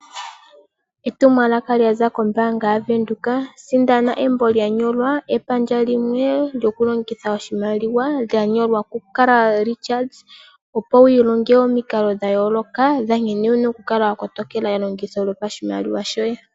Etumwalaka lyaza kombaanga yaVenduka. Sindana embo lyanyolwa epandja limwe lyoku longitha oshimaliwa lyanyolwa ku Carl pilchards opo wi ilonge omikalo dha yooloka nkene wuna okukala wa kotokela elongitho lyoshimaliwa shoye.